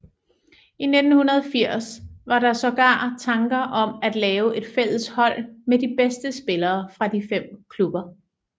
I 1980 var der sågar tanker om at lave et fælles hold med de bedste spillere fra de fem klubber